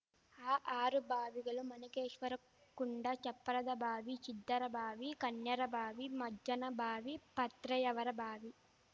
ಆ ಆರು ಬಾವಿಗಳು ಮಣಿಕೇಶ್ವರಕುಂಡ ಚಪ್ಪರದಬಾವಿ ಚಿದ್ದರಬಾವಿ ಕನ್ಯಾರಬಾವಿ ಮಜ್ಜನಬಾವಿ ಪತ್ರೆಯವರಬಾವಿ